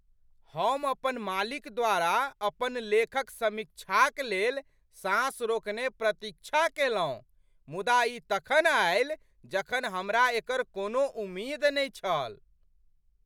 हम अपन मालिक द्वारा अपन लेखक समीक्षाक लेल साँस रोकने प्रतीक्षा कयलहुँ, मुदा ई तखन आयल जखन हमरा एकर कोनो उमेद नहि छल।